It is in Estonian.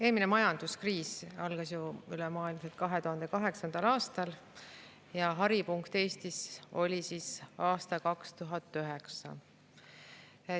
Eelmine majanduskriis algas ülemaailmselt 2008. aastal ja haripunkt Eestis oli aastal 2009.